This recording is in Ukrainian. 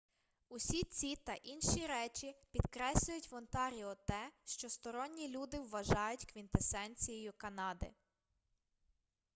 усі ці та інші речі підкреслюють в онтаріо те що сторонні люди вважають квінтесенцією канади